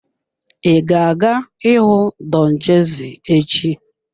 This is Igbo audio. Ị ga-aga ịhụ Don Jazzy echi?